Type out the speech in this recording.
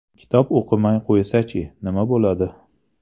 Kitob o‘qimay qo‘ysa-chi, nima bo‘ladi?